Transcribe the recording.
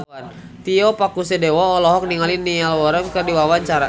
Tio Pakusadewo olohok ningali Niall Horran keur diwawancara